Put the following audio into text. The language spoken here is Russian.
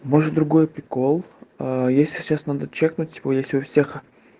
может другой прикол а её сейчас надо чекнуть ну типа если у всех